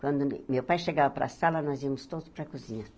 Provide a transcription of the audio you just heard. Quando meu pai chegava para a sala, nós íamos todos para a cozinha.